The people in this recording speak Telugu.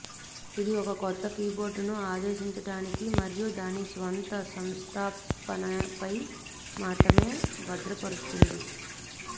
ఇది ఒక కొత్త కీబోర్డును ఆదేశించటానికి మరియు దాని స్వంత సంస్థాపనపై మాత్రమే భద్రపరుస్తుంది